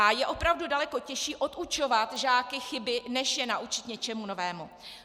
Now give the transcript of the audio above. A je opravdu daleko těžší odučovat žáky chyby, než je naučit něčemu novému.